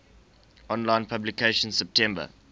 online publication september